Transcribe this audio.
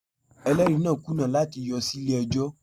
Ẹlẹ́rìí náà kùnà láti yọ sí ilé ẹjọ́